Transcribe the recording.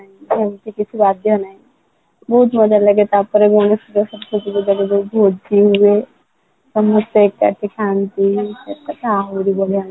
college ରେ କିଛି ବାଧ୍ୟ ନାହିଁ ବହୁତ ମଜା ଲାଗେ ତାପରେ ଗଣେଶ ପୂଜା ସରସ୍ବତୀ ପୂଜା କୁ ଯୋଉ ଭୋଜି ହୁଏ ସମସ୍ତେ ଏକାଠି ଥାନ୍ତି ମତେ ତ ଆହୁରି ବଢିଆ ଲାଗେ